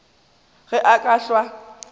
ge a ka hlwa a